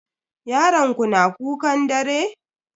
Yaron ku na kukan dare?